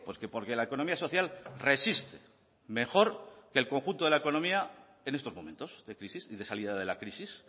qué porque la economía social resiste mejor que el conjunto de la economía en estos momentos de crisis y de salida de la crisis